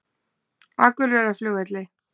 Akureyrarflugvelli